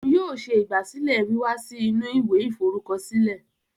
Òún yóò ṣe ìgbàsílẹ̀ wíwá sì inú ìwé iforukọsilẹ